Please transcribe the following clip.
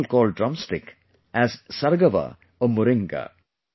Some people call drum stick as Sargava or Moringa